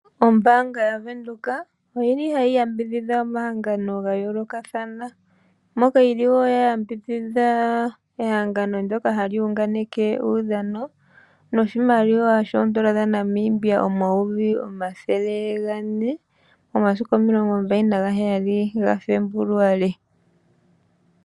Ombaanga yaVenduka oyi li hayi yambidhidha omahangano ga yoolokathana, nokayi li wo ya yambidhidha ehengano ndoka hali hunganeke uudhano noshimaliwa shoondola dhaNamibia omayovi omathele gane. Momasiku omilongo mbali naheyali gaFebuluali.